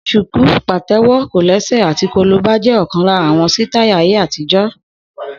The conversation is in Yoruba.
Shuku, patewo, kolese àti kolobá jẹ́ ọ̀kan lára àwọn sítáì ayé àtijọ́.